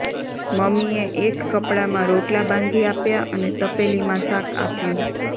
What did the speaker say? મમ્મીએ એક કપડામાં રોટલા બાંધી આપ્યા અને તપેલીમાં શાક આપ્યું